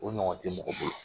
O ɲɔgɔn tɛ mɔgɔ bolo